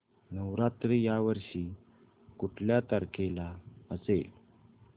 नवरात्र या वर्षी कुठल्या तारखेला असेल